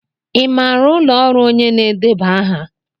Ị maara ụlọ ọrụ onye na-edeba aha?